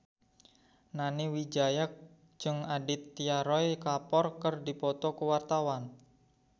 Nani Wijaya jeung Aditya Roy Kapoor keur dipoto ku wartawan